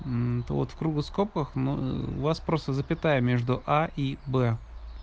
вот в круглых скобках но у вас просто запятая между а и б